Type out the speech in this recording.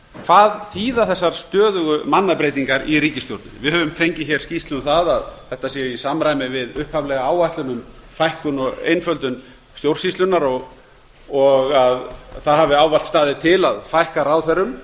hvað þýða þessar stöðugu mannabreytingar í ríkisstjórn við höfum fengið skýrslu um að þetta sé í samræmi við upphaflega áætlun um fækkun og einföldun stjórnsýslunnar og það hafi ávallt staðið til að fækka ráðherrum